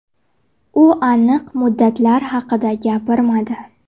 U aniq muddatlar haqida gapirmadi.